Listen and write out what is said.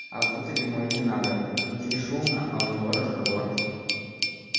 а внутрь ему и не надо внутри шумно а у него разговор